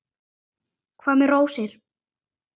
Hvað með rósir?